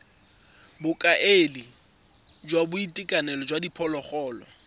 bokaedi jwa boitekanelo jwa diphologolo